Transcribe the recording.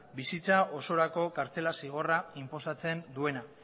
bizitza osorako kartzela zigorra inposatzen duena